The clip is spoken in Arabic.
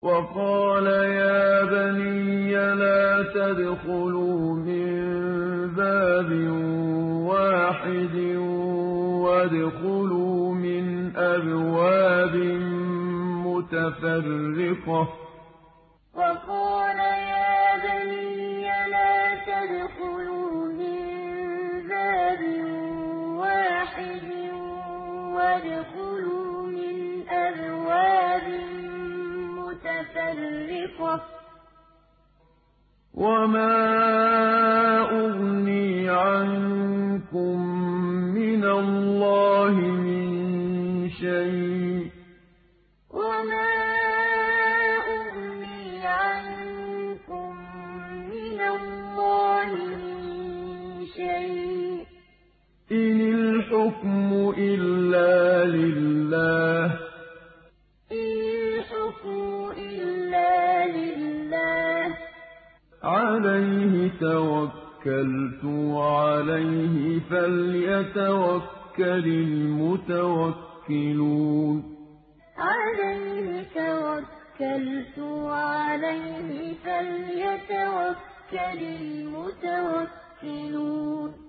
وَقَالَ يَا بَنِيَّ لَا تَدْخُلُوا مِن بَابٍ وَاحِدٍ وَادْخُلُوا مِنْ أَبْوَابٍ مُّتَفَرِّقَةٍ ۖ وَمَا أُغْنِي عَنكُم مِّنَ اللَّهِ مِن شَيْءٍ ۖ إِنِ الْحُكْمُ إِلَّا لِلَّهِ ۖ عَلَيْهِ تَوَكَّلْتُ ۖ وَعَلَيْهِ فَلْيَتَوَكَّلِ الْمُتَوَكِّلُونَ وَقَالَ يَا بَنِيَّ لَا تَدْخُلُوا مِن بَابٍ وَاحِدٍ وَادْخُلُوا مِنْ أَبْوَابٍ مُّتَفَرِّقَةٍ ۖ وَمَا أُغْنِي عَنكُم مِّنَ اللَّهِ مِن شَيْءٍ ۖ إِنِ الْحُكْمُ إِلَّا لِلَّهِ ۖ عَلَيْهِ تَوَكَّلْتُ ۖ وَعَلَيْهِ فَلْيَتَوَكَّلِ الْمُتَوَكِّلُونَ